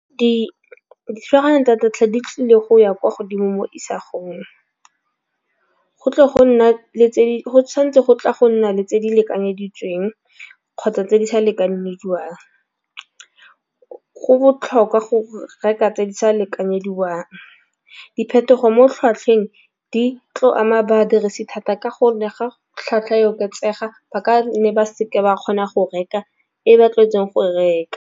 Dithulaganyo tsa data di tlile go ya kwa godimo mo go tle go nna le go tšhwanetse go tla go nna le tse di lekanyeditsweng kgotsa tse di sa lekanediwang. Go botlhokwa go reka tse di sa lekanyediwang. Diphetogo mo tlhwatlhweng di tlo ama badirisi thata ka go ne ga tlhwatlhwa e oketsega ba ka nne ba seke ba kgona go reka ko ba tlwaetseng go reka.